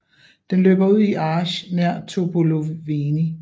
Den løber ud i Argeș nær Topoloveni